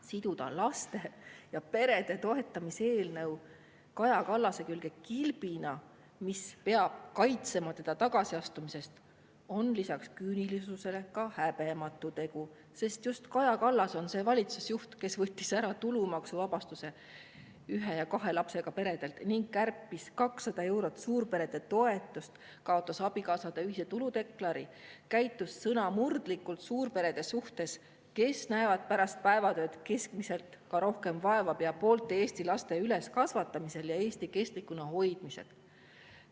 Siduda laste ja perede toetamise eelnõu Kaja Kallase külge kilbina, mis peab kaitsema teda tagasiastumise eest, on lisaks küünilisusele ka häbematu tegu, sest just Kaja Kallas on see valitsusjuht, kes võttis ära tulumaksuvabastuse ühe ja kahe lapsega peredelt ning kärpis 200 eurot suurperede toetust, kaotas abikaasade ühise tuludeklaratsiooni, käitus sõnamurdlikult suurperede suhtes, kes näevad pärast päevatööd keskmiselt ka rohkem vaeva pea poolte Eesti laste üleskasvatamisel ja Eesti kestlikuna hoidmisel.